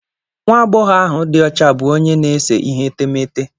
Nwa agbọghọ ahụ di ocha bụ onye na-ese ihe etemeete.